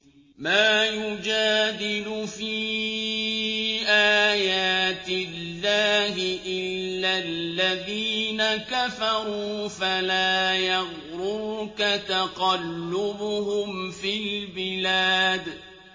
مَا يُجَادِلُ فِي آيَاتِ اللَّهِ إِلَّا الَّذِينَ كَفَرُوا فَلَا يَغْرُرْكَ تَقَلُّبُهُمْ فِي الْبِلَادِ